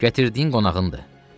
Gətirdiyin qonağındır.